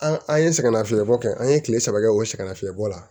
An an ye sɛgɛnlafiɲɛbɔ kɛ an ye kile saba kɛ o sɛgɛnna fiɲɛ bɔ la